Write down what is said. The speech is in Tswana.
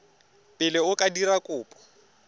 pele o ka dira kopo